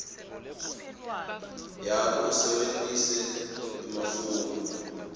yakho usebentise emafomu